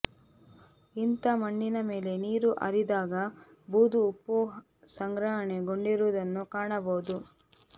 ಇಂಥ ಮಣ್ಣಿನ ಮೇಲೆ ನೀರು ಆರಿದಾಗ ಬೂದು ಉಪ್ಪು ಸಂಗ್ರಹಣೆಗೊಂಡಿರುವುದನ್ನು ಕಾಣಬಹುದು